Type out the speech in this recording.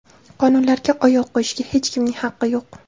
Qonunlarga oyoq qo‘yishga hech kimning haqqi yo‘q.